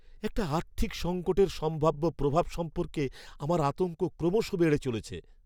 একটা আর্থিক সঙ্কটের সম্ভাব্য প্রভাব সম্পর্কে আমার আতঙ্ক ক্রমশ বেড়েই চলেছে।